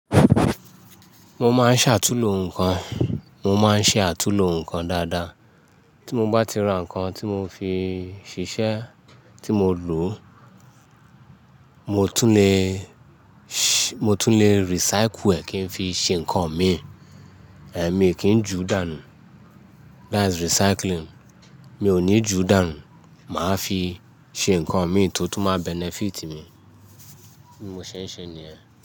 Mo máa ń ṣàtúlo nǹkan, mo máa ń ṣe àtúnlo nǹkan dáadáa. Tí mo bá ti ra nǹkan tí mo fi ṣiṣẹ́ tí mo lò, mo tún lè, mo tún lè recycle ẹ̀ kí n fi ṣe nǹkan mi. Ẹ̀, mi kì í ju dànù. That's recycling. Mi ò ní ju dànù, màá fi ṣe nǹkan mi tó tún máa benefit mi. Bí mo ṣe ń ṣe ni ẹ́.